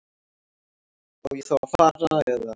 Á ég þá að fara. eða?